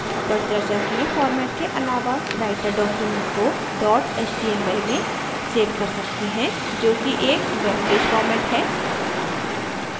ऊपर चर्चा किए format के अलावा writer documents को dot html में सेव कर सकते हैं जोकि एक वेबपेज format है